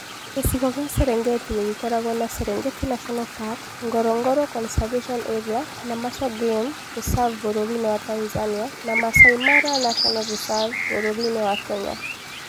Gĩcigo kĩa Serengeti gĩkoragwo na Serengeti National Park, Ngorongoro Conservation Area na Maswa Game Reserve bũrũri-inĩ wa Tanzania na Maasai Mara National Reserve bũrũri-inĩ wa Kenya.